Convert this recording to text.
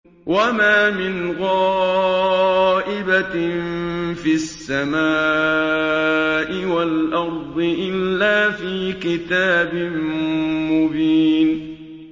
وَمَا مِنْ غَائِبَةٍ فِي السَّمَاءِ وَالْأَرْضِ إِلَّا فِي كِتَابٍ مُّبِينٍ